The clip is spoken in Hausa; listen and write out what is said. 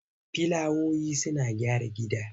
Filawoyi suna gyara gida.